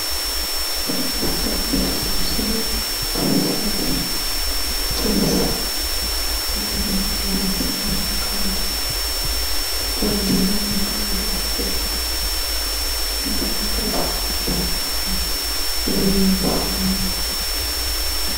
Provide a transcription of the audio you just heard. ከህግ አስከባሪ ውስጥ ለምሳሌ ፖሊስ አለ። ፖሊስ የተለያዩ ምርመራዎችን ለማካሄድ ፣ወንጀልን ደግሞ ወደ ህግ ለማቅረብ ደፋ ቀና ብሎ የሚሠራ ነው።